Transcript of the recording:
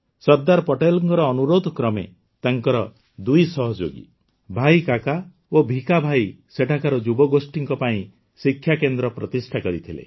ସର୍ଦ୍ଦାର ପଟେଲଙ୍କ ଅନୁରୋଧକ୍ରମେ ତାଙ୍କର ଦୁଇ ସହଯୋଗୀ ଭାଇ କାକା ଓ ଭିଖା ଭାଇ ସେଠାକାର ଯୁବଗୋଷ୍ଠୀଙ୍କ ପାଇଁ ଶିକ୍ଷାକେନ୍ଦ୍ର ପ୍ରତିଷ୍ଠା କରିଥିଲେ